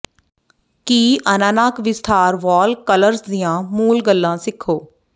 ਕੀ ਅਨਾਨਕ ਵਿਸਥਾਰ wall colours ਦੀਆਂ ਮੂਲ ਗੱਲਾਂ ਸਿੱਖੋ